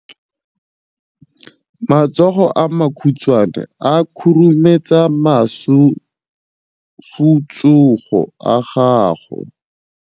Matsogo a makhutshwane a khurumetsa masufutsogo a gago.